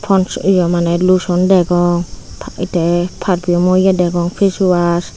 paans ye maneh luson degong tey perpiyumo ye degong face wash.